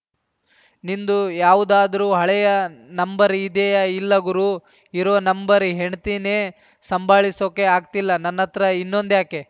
ನಿಂದು ಯಾವುದಾದ್ರೂ ಹಳೆಯ ನಂಬರ್‌ ಇದೆಯಾ ಇಲ್ಲಾ ಗುರೂ ಇರೋ ನಂಬರ್‌ ಹೆಂಡ್ತೀನೇ ಸಂಭಾಳಿಸೋಕೆ ಆಗ್ತಿಲ್ಲ ನನ್ನತ್ರ ಇನ್ನೊಂದ್ಯಾಕೆ